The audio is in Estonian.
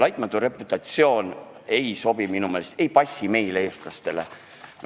"Laitmatu reputatsioon" minu meelest meile, eestlastele, ei sobi.